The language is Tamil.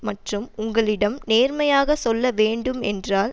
மற்றும் உங்களிடம் நேர்மையாக சொல்ல வேண்டும் என்றால்